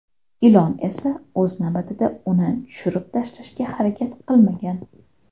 Ilon esa o‘z navbatida uni tushirib tashlashga harakat qilmagan.